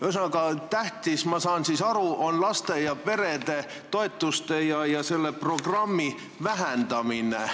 Ühesõnaga, ma saan siis aru, et tähtis on laste ja perede toetuste ja selle programmi vähendamine.